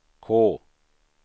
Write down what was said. K